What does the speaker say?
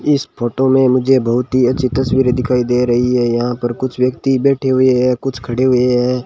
इस फोटो में मुझे बहुत ही अच्छी तस्वीरे दिखाई दे रही है यहां पर कुछ व्यक्ति बैठे हुए हैं कुछ खड़े हुए हैं।